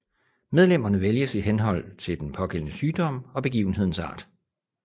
Medlemmerne vælges i henhold til den pågældende sygdom og begivenhedens art